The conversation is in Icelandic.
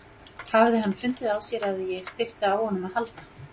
Hafði hann fundið á sér að ég þurfti á honum að halda?